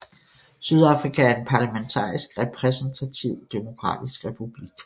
Sydafrika er en parlamentarisk repræsentativ demokratisk republik